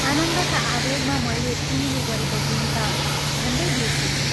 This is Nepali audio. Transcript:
आनन्दका आवेगमा मैले तिमीले गरेको गुण ता झण्डै बिर्सेछु।